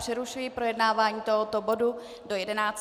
Přerušuji projednávání tohoto bodu do 11. prosince.